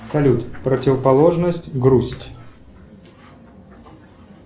салют противоположность грусть